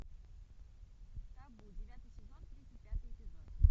табу девятый сезон тридцать пятый эпизод